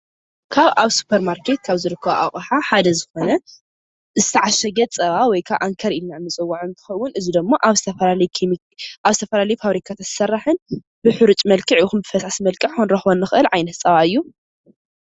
ካብ ኣብ ሱፐርማርኬት ካብ ዝርከቡ ኣቕሓ ሓደ ዝኾነ ዝተዓሸገ ፀባ ወይ ከዓ ኣንከር ኢልና ንፅውዖ እንትኸውን እዚ ደሞ ኣብ ዝተፈላለዩ ፋብሪካታት ዝስራሕን ብሕሩጭ መልክዕ ይኹን ብፈሳሲ መልክዕ ክንረኽቦ ንኽእል ዓይነት ፀባ እዩ፡፡